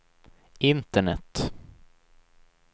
internet